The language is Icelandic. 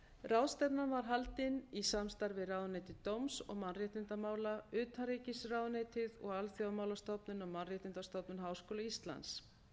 ráðstefnan var haldin í samstarfi við ráðuneyti dóms og mannréttindamála utanríkisráðuneytið og alþjóðamálastofnun og mannréttindastofnun háskóla íslands